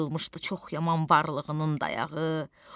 Qırılmışdı çox yaman varlığının dayağı.